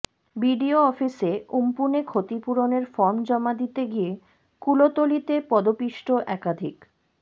BDO অফিসে উম্পুনে ক্ষতিপূরণের ফর্ম জমা দিতে গিয়ে কুলতলিতে পদপিষ্ট একাধিক